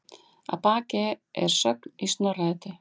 Að baki er sögn í Snorra-Eddu